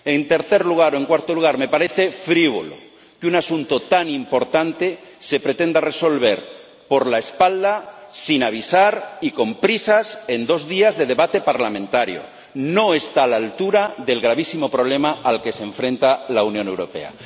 En cuarto lugar, me parece frívolo que un asunto tan importante se pretenda resolver por la espalda, sin avisar y con prisas, en dos días de debate parlamentario. No está a la altura del gravísimo problema al que se enfrenta la Unión Europea.